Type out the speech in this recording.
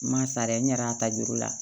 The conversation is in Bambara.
N ma sara dɛ n yɛrɛ y'a ta juru la